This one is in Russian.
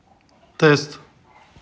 тест